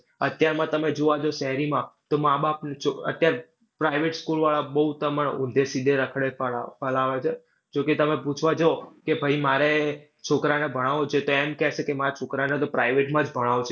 અત્યારમાં તમે જૂઆ જઉં જો શહેરીમાં તો મા બાપ અત્યાર private school વાળા બઉ તમારે છે. જો કે તમે પૂછવા જઉં તો એમ કેસે કે માર છોકરાને તો private માં જ ભણાવો છે.